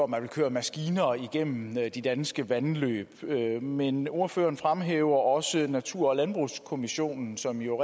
man vil køre maskiner igennem de danske vandløb men ordføreren fremhæver også natur og landbrugskommissionen som jo